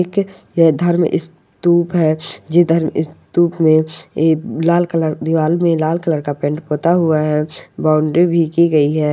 एक अ धर्म स्तूप है जिधर स्तूप में लाल कलर दिवार में लाल कलर का पेंट पोता हुआ है बाउंड्री भी की हुई है।